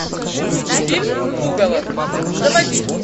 фильм пугало заводи